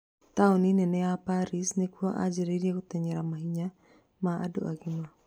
Taoni nene ya Paris nĩkuo anjĩrĩirie gũteng'era mahenya ma andũa agima